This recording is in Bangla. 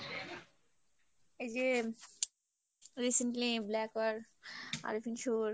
এই যে recently blacker i think sure